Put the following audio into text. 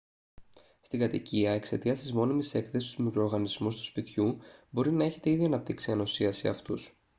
στην κατοικία εξαιτίας της μόνιμης έκθεσης στους μικροοργανισμούς του σπιτιού μπορεί να έχετε ήδη αναπτύξει ανοσία σε αυτούς